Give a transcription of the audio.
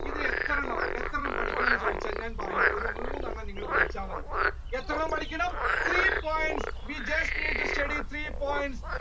ഇത് എത്രയെണ്ണം എത്രയെണ്ണം പഠിക്കണം എന്ന് ചോദിച്ചു കഴിഞ്ഞാൽ ഞാൻ പറയും ഒരു മൂന്നെണ്ണം നിങ്ങൾ പഠിച്ച മതി എത്രയെണ്ണം പഠിക്കണം three points, we just need to study three points